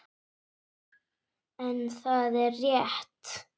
En það er rétt.